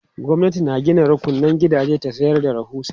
gwamnati na Gina rukunan gidaje ta sayar da rahusa